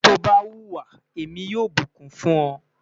ti o ba huwa, Emi yoo bukun fun ọ